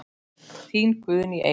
Þín Guðný Eik.